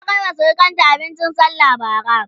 ta Kaima surukanta abincin sallah Bara?